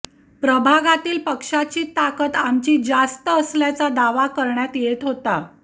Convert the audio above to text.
प्रभागातील पक्षाची ताकत आमची जास्त असल्याचा दावा करण्यात येत होता